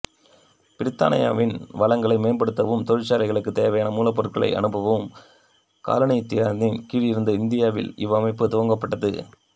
பிரித்தானியாவின் வளங்களை மேம்படுத்தவும் தொழிற்சாலைகளுக்கு தேவையான மூலப்பொருட்களை அனுப்பவும் காலனியாதிக்கதின் கீழிருந்த இந்தியாவில் இவ்வமைப்பு துவக்கப்பட்டது